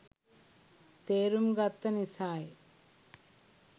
තේරුම් ගත්ත නිසායි.